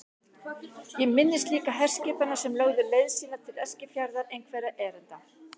Ég minnist líka herskipanna sem lögðu leið sína til Eskifjarðar einhverra erinda.